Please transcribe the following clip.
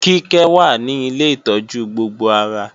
Kíkẹ́ wà ní Ilé ìtọ́jú gbogbo ara